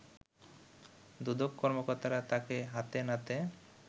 দুদক কর্মকর্তারা তাকে হাতে নাতে